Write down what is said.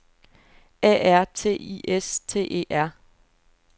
A R T I S T E R